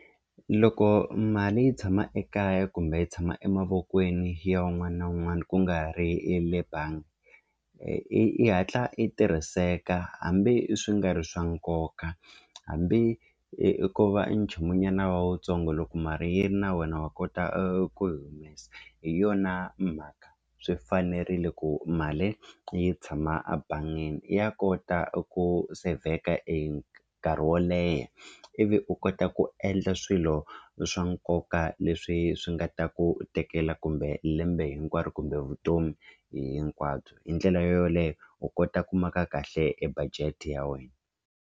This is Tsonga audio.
Loko mali yi tshama ekaya kumbe yi tshama emavokweni ya wun'wana na wun'wana ku nga ri e le bangi i i hatla i tirhiseka hambi swi nga ri swa nkoka hambi i ku va e nchumunyana wa wutsongo loko mali yi ri na wena wa kota ku yi humesa hi yona mhaka swi fanerile ku mali yi tshama ebangini ya kota ku sevheka e nkarhi wo leha ivi u kota ku endla swilo swa nkoka leswi swi nga ta ku tekela kumbe lembe hinkwaro kumbe vutomi hinkwabyo hi ndlela yoyoleyo u kota ku maka kahle e budget ya wena.